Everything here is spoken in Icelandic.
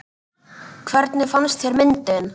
Hvernig fannst þér myndin?